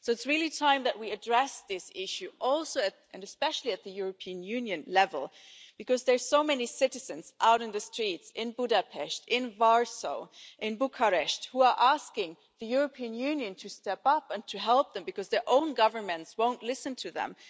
So it's really time that we address this issue, especially at the European Union level, because there are so many citizens out in the streets in Budapest, Warsaw and Bucharest who are asking the European Union to step up and to help them because their own governments won't listen to them.